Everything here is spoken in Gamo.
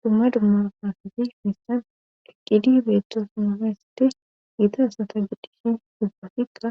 Dumma dumma pahzi missan eqqidi beetosnamaysati giita asata giddhishin dubbafikka